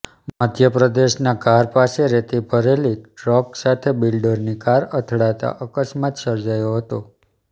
મધ્યપ્રદેશનાં ધાર પાસે રેતી ભરેલી ટ્રક સાથે બિલ્ડરની કાર અથડાતા અકસ્માત સર્જાયો હતો